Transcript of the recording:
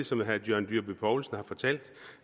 som herre john dyrby paulsen har fortalt